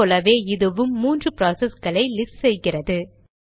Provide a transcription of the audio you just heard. முன் போலவே இதுவும் மூன்று ப்ராசஸ்களை லிஸ்ட் செய்கிறது